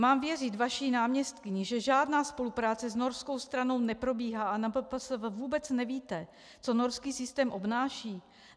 Mám věřit vaší náměstkyni, že žádná spolupráce s norskou stranou neprobíhá a na MPSV vůbec nevíte, co norský systém obnáší?